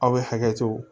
Aw bɛ hakɛ to